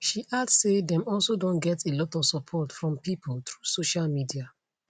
she add say dem also don get a lot of support from pipo through social media